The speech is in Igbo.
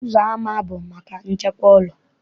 Ụzọama bụ maka nchekwa ụlọ.